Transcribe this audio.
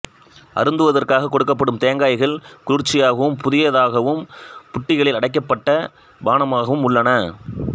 அருந்துவதற்காகக் கொடுக்கப்படும் தேங்காய்கள் குளிர்ச்சியாகவும் புதியதாகவும் புட்டிகளில் அடைக்கப்பட்ட பானமாகவும் உள்ளன